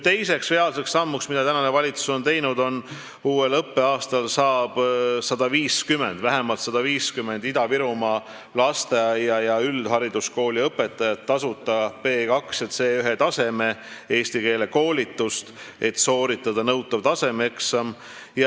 Teine samm, mida ametis olev valitsus on teinud, on see, et uuel õppeaastal saab vähemalt 150 Ida-Virumaa lasteaia- ja üldhariduskooliõpetajat tasuta B2- ja C1-taseme eesti keele koolitust, et sooritada nõutav tasemeeksam.